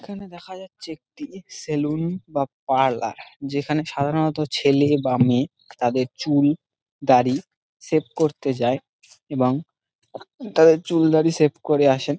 এইখানে দেখা যাচ্ছে একটি সেলুন বা পার্লার যেখানে সাধারণত ছেলে বা মেয়ে তাদের চুল দাড়ি শেভ করতে যাই এবং তাদের চুল দাড়ি শেভ করে আসে ।